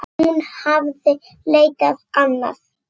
En hún hafði leitað annað.